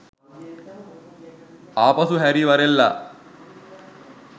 ආපසු හැරී වරෙල්ලා.